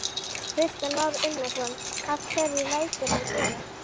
Kristján Már Unnarsson: Af hverju lætur hann svona?